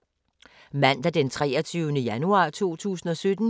Mandag d. 23. januar 2017